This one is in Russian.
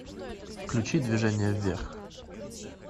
включи движение вверх